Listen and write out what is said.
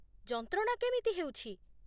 ଯନ୍ତ୍ରଣା କେମିତି ହେଉଛି?